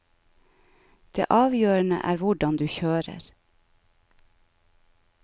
Det avgjørende er hvordan du kjører.